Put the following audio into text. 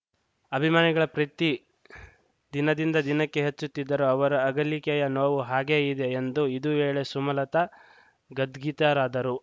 ಅಭಿಮಾನಿಗಳ ಪ್ರೀತಿ ದಿನದಿಂದ ದಿನಕ್ಕೆ ಹೆಚ್ಚುತ್ತಿದ್ದರೂ ಅವರ ಅಗಲಿಕೆಯ ನೋವು ಹಾಗೇ ಇದೆ ಎಂದು ಇದು ವೇಳೆ ಸುಮಲತಾ ಗದ್ಗತಿತರಾದರು